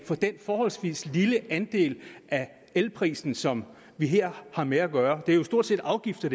for den forholdsvis lille andel af elprisen som vi her har med at gøre det hele er jo stort set afgifter